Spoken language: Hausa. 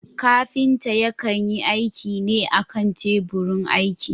Kafinta yakan yi aiki ne a kan teburin aiki.